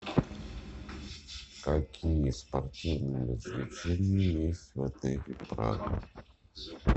какие спортивные развлечения есть в отеле прага